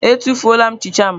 Etufuola m nchicha m.